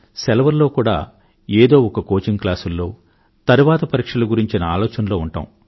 సెలవుల్లో కూడా ఏదో ఒక కోచింగ్ క్లాసుల్లో తరువాతి పరీక్షల గురించిన ఆలోచనలో ఉంటాం